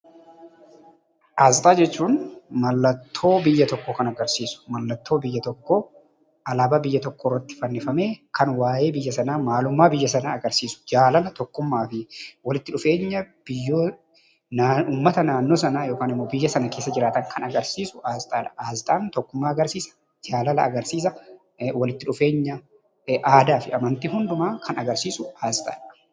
Asxaa jechuun mallattoo biyya tokkoo kan agarsiisu, mallattoo biyya tokkoo, alaabaa biyya tokkoo irratti fannifamee kan waa'ee biyya sanaa, maalummaa biyya sanaa agarsiisu, jaalala, tokkummaa fi walitti dhufeenya uummata naannoo sanaa yookiin immoo biyya sana keessa jiraatan agarsiisu Asxaa dha. Asxaan tokkummaa, jaalala agarsiisa, walitti dhufeenya, aadaa fi amantii hundumaa kan agarsiisu Asxaa dha.